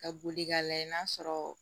Ka boli k'a lajɛ n'a sɔrɔ